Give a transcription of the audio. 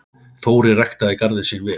Þórir ræktaði garðinn sinn vel.